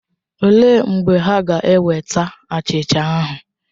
Olee mgbe ha ga-eweta achịcha ahụ?